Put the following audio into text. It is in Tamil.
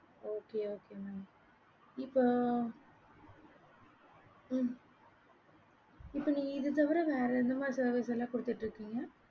okay okay mam சொல்லுங்க இப்ப நீங்க இத தவிர வேற எந்த மாறி services எல்லாம் குடுத்திட்டு இருக்கீங்க